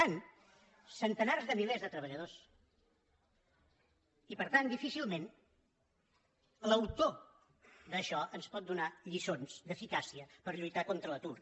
centenars de milers de treballadors i per tant difícilment l’autor d’això ens pot donar lliçons d’eficàcia per lluitar contra l’atur